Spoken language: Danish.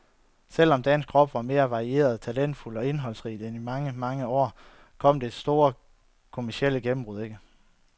Selv om dansk rock var mere varieret, talentfuld og indholdsrig end i mange, mange år, kom det store kommercielle gennembrud ikke.